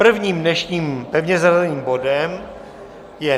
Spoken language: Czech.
Prvním dnešním pevně zařazeným bodem je